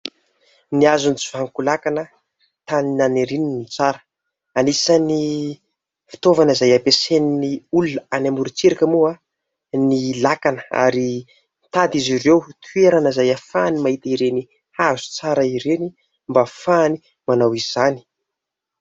"Ny hazo no vanonko-lakana, ny tany naniriny no tsara." Anisan'ny fitaovana izay hampiasain'ny olona any amorontsiraka moa ny lakana ary nitady izy ireo toerana izay ahafahany mahita ireny hazo tsara ireny mba ahafahany manao izany.